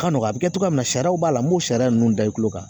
Ka nɔgɔn a bi kɛ cogoya min na sariyaw b'a la n m'o sariya ninnu da i kulo kan